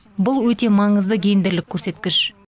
бұл өте маңызды гендерлік көрсеткіш